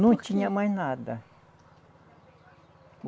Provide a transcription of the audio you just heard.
Não tinha mais nada.